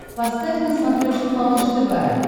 поставь на смотрешке малыш тв